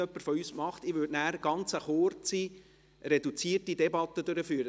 Dies, weil wir es nicht wissen und es noch nie jemand von uns gemacht hat.